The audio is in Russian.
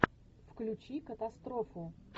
включи катастрофу